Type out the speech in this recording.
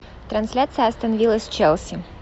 трансляция астон вилла с челси